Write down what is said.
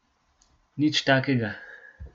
Nič takega.